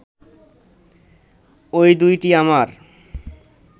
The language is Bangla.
ঐ দুইটি আমার